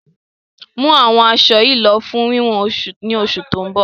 Mú àwọn asọ yí lọ fún wíwọ̀n ni oṣù tó ń bọ̀!